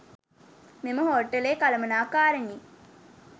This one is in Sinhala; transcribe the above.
මෙම හෝටලේ කලමණාකාරනී